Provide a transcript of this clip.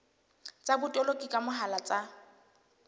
tsa botoloki ka mohala tsa